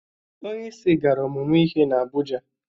Onyeisi gara ụmụmụ ihe n'Abụja.